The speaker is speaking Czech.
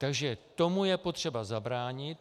Takže tomu je potřeba zabránit.